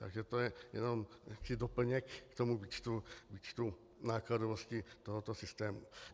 Takže to je jenom jaksi doplněk k tomu výčtu nákladovosti tohoto systému.